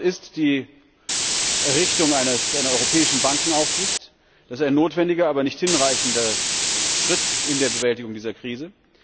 Die Antwort ist die Errichtung einer europäischen Bankenaufsicht. Das ist ein notwendiger, aber nicht hinreichender Schritt in der Bewältigung dieser Krise.